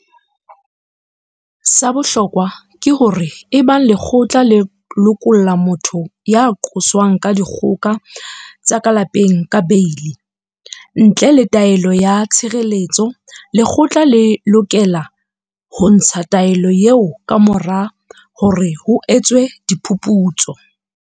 Sa bohlokwa ke hore ebang lekgotla le lokolla motho ya qoswang ka dikgoka tsa ka lapeng ka beili ntle le taelo ya tshireletso, lekgotla le lokela ho ntsha taelo eo kamora hore ho etswe phuputso.